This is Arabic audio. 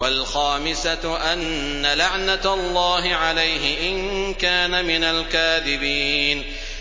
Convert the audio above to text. وَالْخَامِسَةُ أَنَّ لَعْنَتَ اللَّهِ عَلَيْهِ إِن كَانَ مِنَ الْكَاذِبِينَ